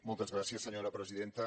moltes gràcies senyora presidenta